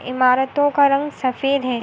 इमारतों का रंग सफ़ेद है।